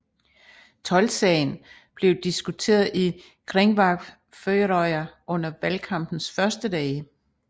Toldsagen blev diskuteret i Kringvarp Føroya under valgkampens første dage